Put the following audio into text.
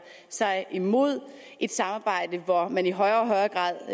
sig imod et samarbejde hvor man i højere og højere grad